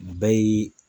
Bɛɛ y'i